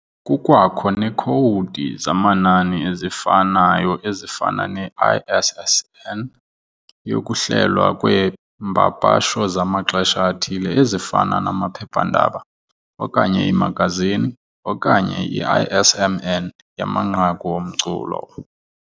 Kukwakho neekhowudi zamanani ezifanayo ezifana ne- ISSN yokuhlelwa kweempapasho zamaxesha athile ezifana namaphephandaba okanye iimagazini, okanye i-ISMN yamanqaku omculo.